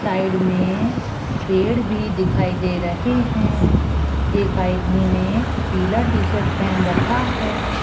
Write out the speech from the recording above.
Side में पेड़ भी दिखाई दे रहे हैं एक आदमी ने पीला टी-शर्ट पहन रखा है।